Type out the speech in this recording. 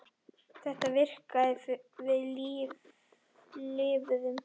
Þetta virkaði og við lifðum.